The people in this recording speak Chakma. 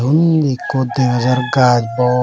undi ekko dega jar gaj bor.